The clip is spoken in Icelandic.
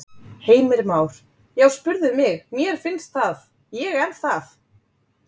Heimir Már: Já spurðu mig, mér finnst það, ég er það?